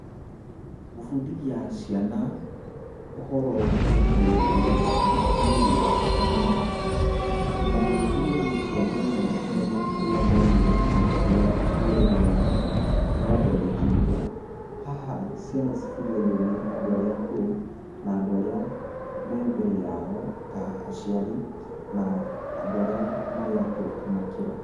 Gũbũndithia ciana, ũhoro wĩgie rũrĩrĩ rwanyu nĩ ũndũ wa bata mũno, na nĩ ũteithagia ciana mũno kũmenya kũrĩa maumire na ũrĩa rũrĩrĩ rwao rwathondekirwo. Haha ciana cibũndithagio nĩ andũ arva akũrũ, na andũ arĩa me mbere yao ta aciari na andũ arĩa akũrũ kũmakĩra.